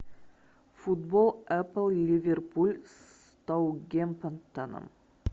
футбол апл ливерпуль с саутгемптоном